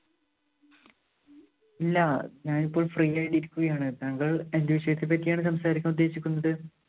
ഇല്ല. ഞാനിപ്പോള്‍ free ആയിട്ട് ഇരിക്കുകയാണ്. താങ്കള്‍ എന്തു വിഷയത്തെ പറ്റിയാണ് സംസാരിക്കാന്‍ ഉദ്ദേശിക്കുന്നത്?